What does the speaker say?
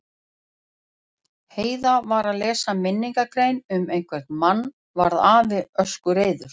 Heiða var að lesa minningargrein um einhvern mann varð afi öskureiður.